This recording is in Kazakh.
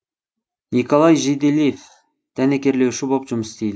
николай жиделев дәнекерлеуші боп жұмыс істейді